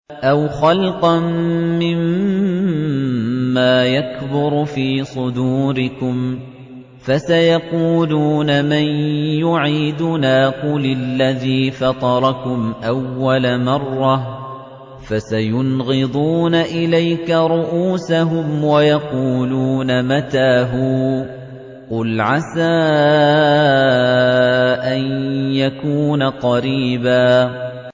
أَوْ خَلْقًا مِّمَّا يَكْبُرُ فِي صُدُورِكُمْ ۚ فَسَيَقُولُونَ مَن يُعِيدُنَا ۖ قُلِ الَّذِي فَطَرَكُمْ أَوَّلَ مَرَّةٍ ۚ فَسَيُنْغِضُونَ إِلَيْكَ رُءُوسَهُمْ وَيَقُولُونَ مَتَىٰ هُوَ ۖ قُلْ عَسَىٰ أَن يَكُونَ قَرِيبًا